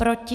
Proti?